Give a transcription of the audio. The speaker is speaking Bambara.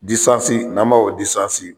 n'an b'a